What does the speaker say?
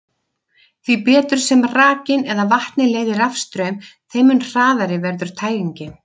Því betur sem rakinn eða vatnið leiðir rafstraum, þeim mun hraðari verður tæringin.